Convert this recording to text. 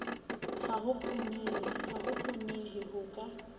ha ho kgonehe ho ka